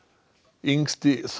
yngsti